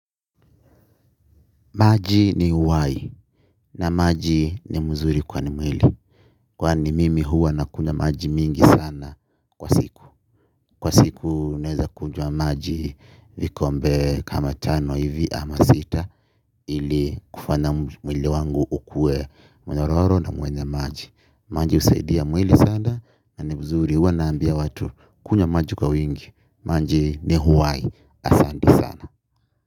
Maji ni uhai na maji ni mzuri kwa mwili. Kwani mimi huwa nakunywa maji mingi sana kwa siku. Kwa siku naeza kunywa maji vikombe kama tano hivi ama sita ili kufanya mwili wangu ukue mnyororo na mwenye maji. Maji husaidia mwili sana na ni mzuri huwa naambia watu kunywa maji kwa wingi. Maji ni uhai asante sana.